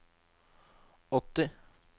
åtti